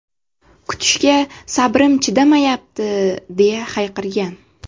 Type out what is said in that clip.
Kutishga sabrim chidamayapti!”, deya hayqirgan.